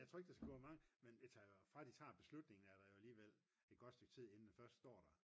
jeg tror ikke der skal gå mange men fra at de tager beslutningen er der jo alligevel et godt stykke tid inden det først står der